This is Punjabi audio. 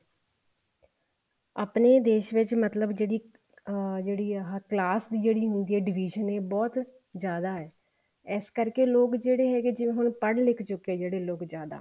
ਆਪਣੇ ਦੇਸ਼ ਵਿੱਚ ਮਤਲਬ ਜਿਹੜੀ ਅਮ ਜਿਹੜੀ ਆਹ class ਜਿਹੜੀ ਹੁੰਦੀ ਆ division ਇਹ ਬਹੁਤ ਜਿਆਦਾ ਹੈ ਇਸ ਕਰਕੇ ਲੋਕ ਜਿਹੜੇ ਹੈਗੇ ਜਿਵੇਂ ਹੁਣ ਪੜ ਲਿਖ ਚੁੱਕੇ ਜਿਹੜੇ ਲੋਕ ਜਿਆਦਾ